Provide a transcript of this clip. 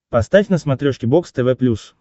поставь на смотрешке бокс тв плюс